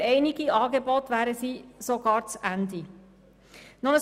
Für einige Angebote würden sie sogar das Ende bedeuten.